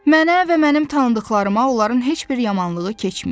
Mənə və mənim tanıdıqlarıma onların heç bir yamanlığı keçməyib.